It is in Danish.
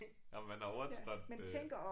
Om man har overtrådt øh